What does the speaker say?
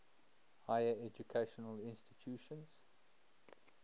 higher educational institutions